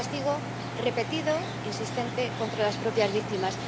Es un castigo repetido, insistente, contra las propias víctimas.